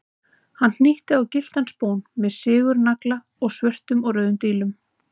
Hann hnýtti á gylltan spón með sigurnagla og svörtum og rauðum dílum.